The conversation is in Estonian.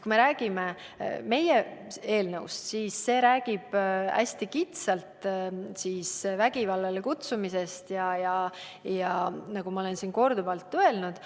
Kui räägime meie eelnõust, siis see käsitleb hästi kitsast ala, vägivallale üleskutsumist, nagu ma olen siin korduvalt öelnud.